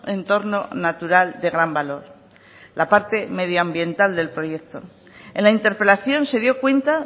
entorno natural de gran valor la parte medioambiental del proyecto en la interpelación se dio cuenta